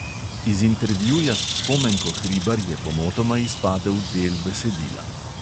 Iz intervjuja s spomenko hribar je pomotoma izpadel del besedila.